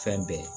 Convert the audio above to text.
Fɛn bɛɛ